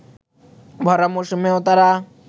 ভরা মৌসুমেও তারা